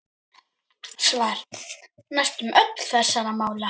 Svar: Næstum öll þessara mála